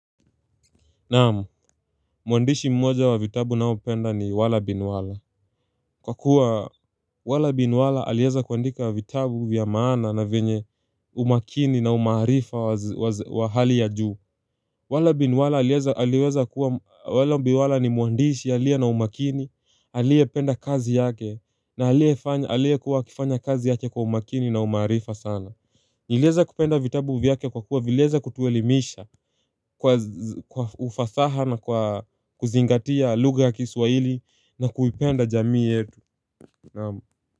Naamu, mwandishi mmoja wa vitabu ninao upenda ni wala binwala Kwa kuwa wala binwala alieza kuandika vitabu vyamaana na venye umakini na umaharifa wa hali ya juu wala binwala alieza kuwa wala mbiwala ni mwandishi aliye na umakini alie penda kazi yake na alie kufanya kazi yake kwa umakini na umaharifa sana nilieza kupenda vitabu vyake kwa kuwa vilieza kutuelimisha kwa ufasaha na kuzingatia luga ya kiswahili na kuipenda jamii yetu.